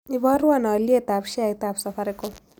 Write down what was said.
Iboruon alyetap sheaitap safaricom